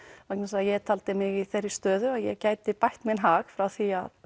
vegna þess að ég taldi mig í þeirri stöðu að ég gæti bætt minn hag frá því